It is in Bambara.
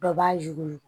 Dɔ b'a yuguri